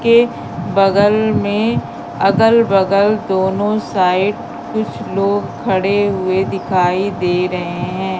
के बगल में अगल बगल दोनों साइड कुछ लोग खड़े हुए दिखाई दे रहे है।